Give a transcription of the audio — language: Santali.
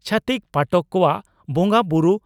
ᱪᱷᱟᱹᱛᱤᱠ ᱯᱟᱴᱚᱠ ᱠᱚᱣᱟᱜ ᱵᱚᱸᱜᱟ ᱵᱩᱨᱩ